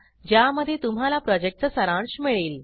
ज्यामध्ये तुम्हाला प्रॉजेक्टचा सारांश मिळेल